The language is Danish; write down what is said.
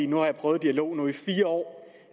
nu har jeg prøvet dialog i fire år